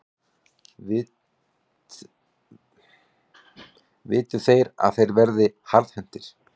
Viltu að þeir verði harðhentir?